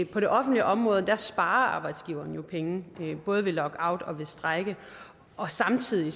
på det offentlige område sparer arbejdsgiveren jo penge både ved lockout og ved strejke og samtidig